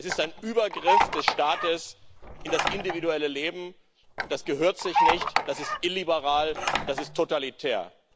Es ist ein Übergriff des Staates in das individuelle Leben, und das gehört sich nicht, das ist illiberal, das ist totalitär.